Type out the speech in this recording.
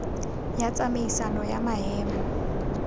ya tsamaisano ya maemo a